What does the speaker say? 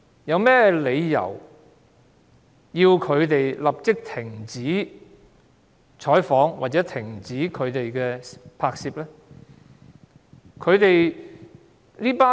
有何理由要他們立即停止採訪或停止拍攝呢？